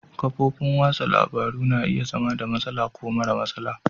Kafofin wasan labaru na iya zama da matsala ko mara matsala.